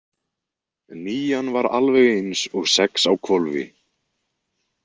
Nían var alveg eins og sex á hvolfi.